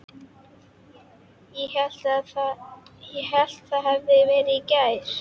Ég hélt það hefði verið í gær.